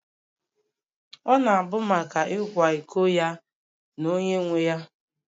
Ọ na-abụ maka ịkwa iko ya na onye nwe ya